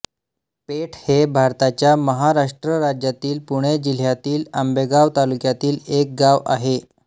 पेठ हे भारताच्या महाराष्ट्र राज्यातील पुणे जिल्ह्यातील आंबेगाव तालुक्यातील एक गाव आहे